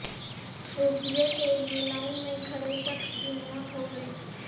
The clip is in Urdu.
روپئے کے لئے لائن میں کھڑے شخص کی موت ہوگئی